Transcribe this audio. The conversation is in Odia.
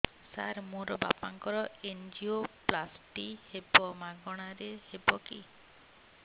ସାର ମୋର ବାପାଙ୍କର ଏନଜିଓପ୍ଳାସଟି ହେବ ମାଗଣା ରେ ହେବ କି